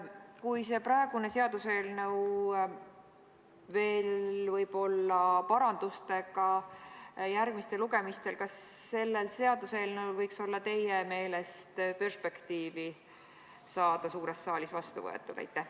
Kui praegune seaduseelnõu võib veel olla parandustega järgmistel lugemistel, siis kas sellel seaduseelnõul võiks teie meelest olla perspektiivi saada suures saalis vastu võetud?